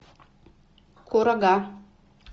курага